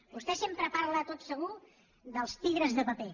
vostè sempre parla tot segur dels tigres de paper